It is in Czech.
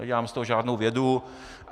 Nedělám z toho žádnou vědu.